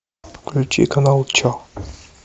включи канал че